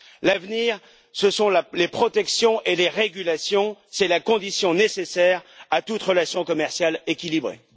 L'avenir, ce sont les protections et les régulations, c'est la condition nécessaire à toute relation commerciale équilibrée.